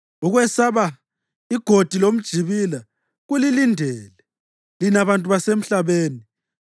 Ukwesaba, igodi lomjibila kulilindele, lina bantu basemhlabeni.